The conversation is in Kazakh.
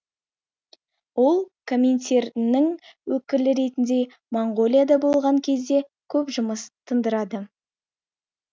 ол коминтерннің өкілі ретінде моңғолияда болған кезде көп жұмыс тындырады